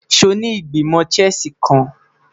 Ṣe o ni Igbimọ Chess kan?